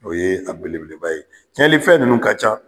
O ye a belebeleba ye. Tiyɛlifɛn ninnu ka can.